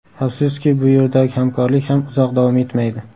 Afsuski, bu yerdagi hamkorlik ham uzoq davom etmaydi.